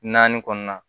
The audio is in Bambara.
Naani kɔnɔna na